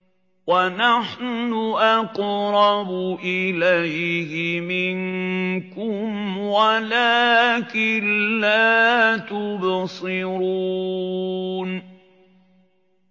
وَنَحْنُ أَقْرَبُ إِلَيْهِ مِنكُمْ وَلَٰكِن لَّا تُبْصِرُونَ